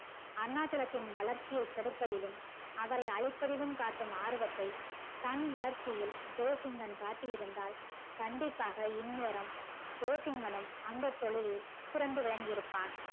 அருணாச்சலத்தின் வளர்ச்சிய கெடுக்கவேண்டும் அவரை அழிப்பதிலும் காட்டும் ஆர்வத்தை தன் வளர்ச்சியில் ஜெசிங்கன் காட்டி இருந்தால் கண்டிப்பாக இந்நேரம் ஜெசின்கனும் அந்த தொழிலில் சிறந்து விளங்கி இருப்பான்